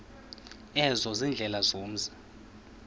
ezo ziindlela zomzi